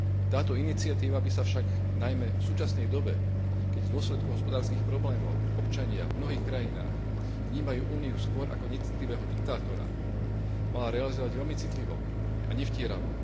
Táto iniciatíva by sa však najmä v súčasnej dobe, keď v dôsledku hospodárskych problémov občania v mnohých krajinách vnímajú Úniu skôr ako necitlivého diktátora, mala realizovať veľmi citlivo a nevtieravo.